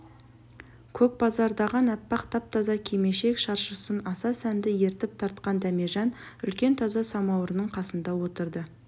көкбараздаған аппақ тап-таза кимешек-шаршысын аса сәнді етіп тартқан дәмежан үлкен таза самауырдың қасына отырды